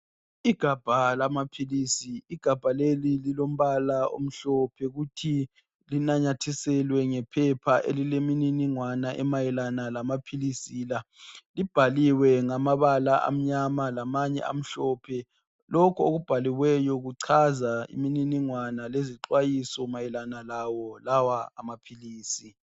Igabha lamaphilisi igabha leli lilombala omhlophe kuthi linamathiselwe ngephepha elimininingwane emayelana lamaphilisi la. Libhaliwe ngamabala amnyama lamanye amhlophe, lokhu okubhaliweyo kuchaza imininingwane lezixwayiso mayelana lawo lawa amaphilisi.